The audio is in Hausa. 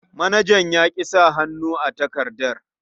Manajan ya ƙi sa hannu a takardar.